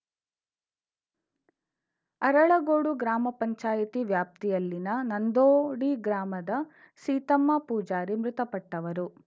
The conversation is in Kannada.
ಅರಳಗೋಡು ಗ್ರಾಮ ಪಂಚಾಯಿತಿ ವ್ಯಾಪ್ತಿಯಲ್ಲಿನ ನಂದೋಡಿಗ್ರಾಮದ ಸೀತಮ್ಮ ಪೂಜಾರಿ ಮೃತಪಟ್ಟವರು